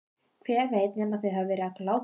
Hver veit nema þau hafi verið á glápinu.